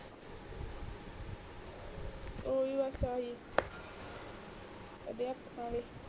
ਓ ਅਧਿਆਪਕ ਵਾਲੀ